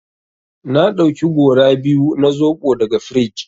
Na ɗauki gora biyu na zoɓo daga frij.